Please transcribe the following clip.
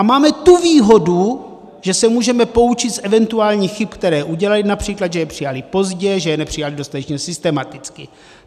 A máme tu výhodu, že se můžeme poučit z eventuálních chyb, které udělali, například, že je přijali pozdě, že je nepřijali dostatečně systematicky.